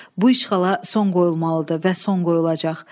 Bu işğala son qoyulmalıdır və son qoyulacaq.